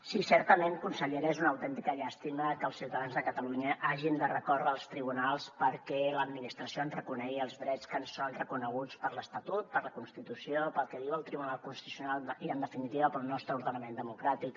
sí certament consellera és una autèntica llàstima que els ciutadans de catalunya hàgim de recórrer als tribunals perquè l’administració ens reconegui els drets que ens són reconeguts per l’estatut per la constitució pel que diu el tribunal constitucional i en definitiva pel nostre ordenament democràtic